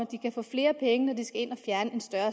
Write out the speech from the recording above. de kan få flere penge når de skal ind og fjerne en større